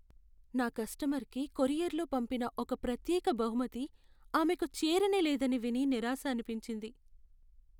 నా కస్టమర్కి కొరియర్లో పంపిన ఒక ప్రత్యేక బహుమతి ఆమెకు చేరనేలేదని విని నిరాశ అనిపించింది.